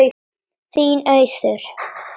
Þín, Auður.